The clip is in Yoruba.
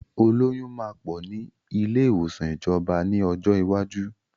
Olóyun máa pọ̀ ni ilé ìwòsàn ìjọba ni ọjọ́ iwájú.